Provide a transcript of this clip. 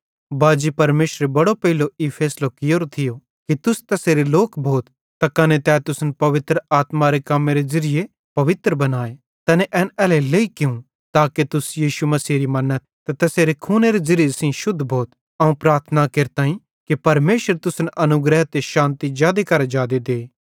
बाजी परमेशरे बड़ो पेइलो ई फैसलो कियोरो थियो कि तुस तैसेरे लोक भोथ त कने तै तुसन पवित्र आत्मारे कम्मेरे ज़िरिये पवित्र बनाए तैने एन एल्हेरेलेइ कियूं ताके तुस यीशु मसीहेरी मन्नथ ते तैसेरे खूनेरे ज़िरिये सेइं शुद्ध भोथ अवं प्रार्थना केरताईं कि परमेशर तुसन अनुग्रह ते शान्ति जादे करां जादे दे